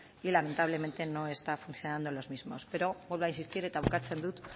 y lamentablemente no está funcionando en los mismos pero vuelvo a insistir eta bukatzen dut